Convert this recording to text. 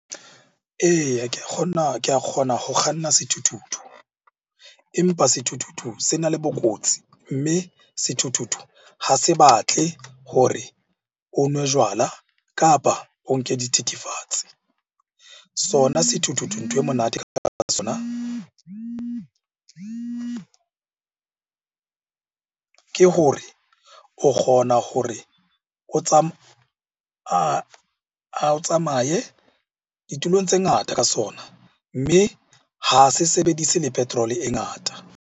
Eya, ke a ke a kgona go kganna sethuthuthu. Empa sethuthuthu se na le bokotsi, mme sethuthuthu ha se batle hore o nwe jwala, kapa o nke dithethefatsi. Sona sethuthuthu ntho e monate ka sona ke gore o kgona hore o tsamaye ditulong tse ngata ka sona. Mme ha se sebedise le petrol-e e ngata.